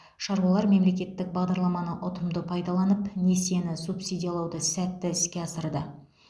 шаруалар мемлекеттік бағдарламаны ұтымды пайдаланып несиені субсидиялауды сәтті іске асырды